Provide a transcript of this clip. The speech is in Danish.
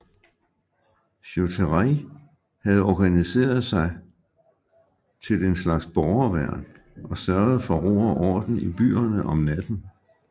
Schutterij havde organiseret sig til til en slags borgerværn og sørgede for ro og orden i byerne om natten